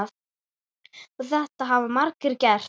Og þetta hafa margir gert.